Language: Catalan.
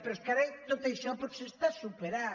però és que ara tot això potser està superat